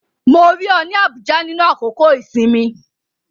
Mo rí ọ ní Abuja nínú àkókò-ìsinmi